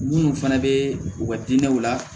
Munnu fana bɛ u ka diinɛw la